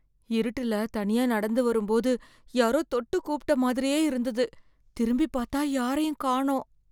இருட்டுல தனியா நடந்து வரும்போது யாரோ தொட்டு கூப்பிட்ட மாதிரியே இருந்தது, திரும்பி பார்த்தா யாரையும் காணோம்.